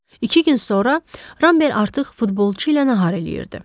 İki gün sonra Ramber artıq futbolçu ilə nahar eləyirdi.